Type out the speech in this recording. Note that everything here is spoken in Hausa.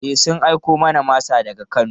E, sun aiko mana da masa daga Kano.